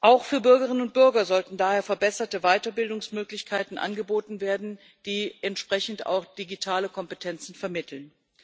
Auch für Bürgerinnen und Bürger sollten daher verbesserte Weiterbildungsmöglichkeiten angeboten werden, die entsprechend auch digitale Kompetenzen vermitteln.